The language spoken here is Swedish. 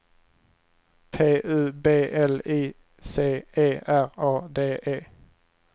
P U B L I C E R A D E